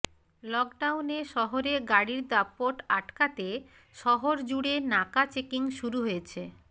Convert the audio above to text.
লকডাউনে শহরে গাড়ির দাপট আটকাতে শহরজুড়ে নাকাচেকিং শুরু হয়েছে